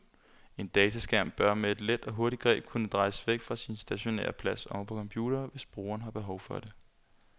En dataskærm bør med et let og hurtigt greb kunne drejes væk fra sin stationære plads oven på computeren, hvis brugeren har behov for det.